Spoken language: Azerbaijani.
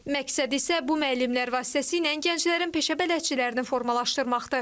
Məqsəd isə bu müəllimlər vasitəsilə gənclərin peşə bələdçilərini formalaşdırmaqdır.